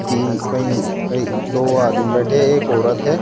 कहीं कहीं कहीं दो आदमी बैठे एक औरत है।